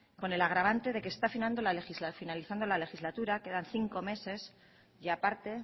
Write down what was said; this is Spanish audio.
con el agravante de que está finalizando la legislatura quedan cinco meses y aparte